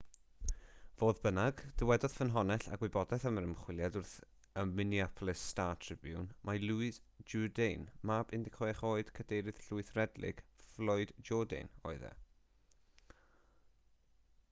fodd bynnag dywedodd ffynhonnell â gwybodaeth am yr ymchwiliad wrth y minneapolis star-tribune mai louis jourdain mab 16 oed cadeirydd llwyth red lake floyd jourdain oedd e